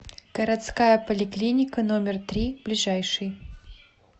городская поликлиника номер три ближайший